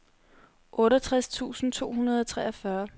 otteogtres tusind to hundrede og treogfyrre